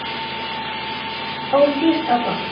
Ódýrt og gott.